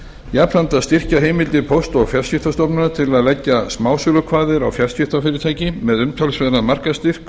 jafnframt að styrkja heimildir póst og fjarskiptastofnunar til að leggja smásölukvaðir á fjarskiptafyrirtæki með umtalsverðan markaðsstyrk